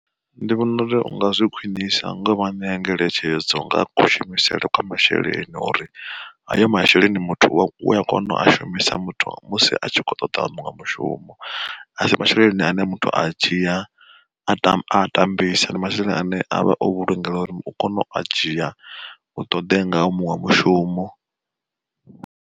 Ndi vhona uri u nga zwi khwiṋisa ngo vha ṋea ngeletshedzo nga kushumisele kwa masheleni, uri a yo masheleni muthu u a kona u a shumisa muthu musi a tshi kho ṱoḓa muṅwe mushumo, asi masheleni ane muthu a dzhia a tama a tambisa ndi masheleni ane avha o vhulungeya uri u kone u a dzhia u toḓe ngao muṅwe mushumo.